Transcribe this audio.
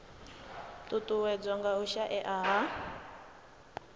ṱuṱuwedzwa nga u shaea ha